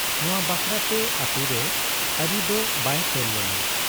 ᱱᱚᱶᱟ ᱵᱟᱠᱷᱨᱟ ᱛᱮ ᱟᱹᱛᱩᱨᱮ ᱟᱨᱤ ᱫᱚ ᱵᱟᱭ ᱛᱚᱞ ᱞᱮᱱᱟ ᱾